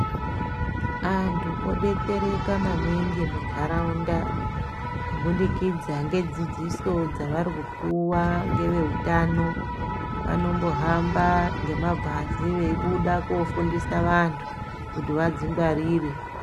Antu odetsereka maningi munharaunda kubudikidza ngedzidziso dzavarikupuwa ngeveutano vanombohamba ngemabhazi veibuda kofundisa vantu kuti vadzingwarire.